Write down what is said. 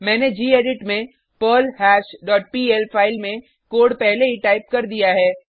मैंने गेडिट में perl hash dot PL file में कोड पहले ही टाइप कर दिया है